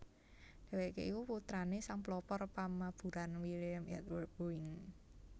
Dhèwèké iku putrané sang pelopor pamaburan William Edward Boeing